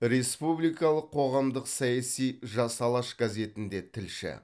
республикалық қоғамдық саяси жас алаш газетінде тілші